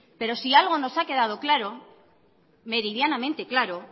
pero si algo que ha quedado claro meridianamente claro